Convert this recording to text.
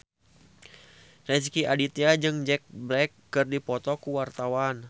Rezky Aditya jeung Jack Black keur dipoto ku wartawan